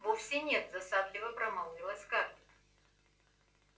вовсе нет досадливо промолвила скарлетт